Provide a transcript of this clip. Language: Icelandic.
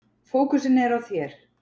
Fókusinn er á þér.